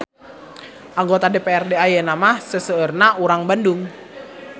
Anggota DPRD ayeuna mah seseueurna urang Bandung